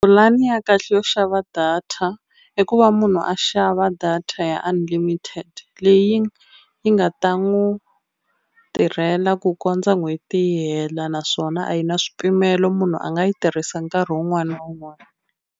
Pulani ya kahle yo xava data i ku va munhu a xava data ya unlimited leyi yi nga ta n'wi tirhela ku kondza n'hweti yi hela naswona a yi na swipimelo munhu a nga yi tirhisa nkarhi wun'wani na wun'wani.